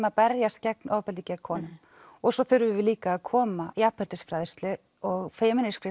að berjast gegn ofbeldi gegn konum svo þurfum við líka að koma jafnréttisfræðslu og